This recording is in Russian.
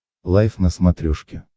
лайф на смотрешке